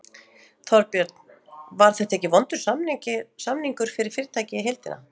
Þorbjörn: Var þetta ekki vondur samningur fyrir fyrirtækið í heildina?